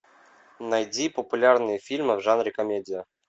найди популярные фильмы в жанре комедия